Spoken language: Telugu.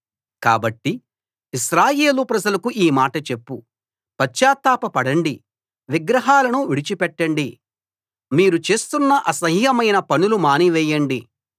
కాబట్టి ఇశ్రాయేలు ప్రజలకు ఈ మాట చెప్పు పశ్చాత్తాప పడండి విగ్రహాలను విడిచిపెట్టండి మీరు చేస్తున్న అసహ్యమైన పనులు మాని వేయండి